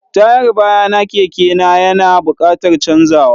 Tayar bayana keke na ya na buƙatar canzawa.